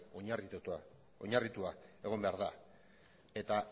oinarritua egon behar da eta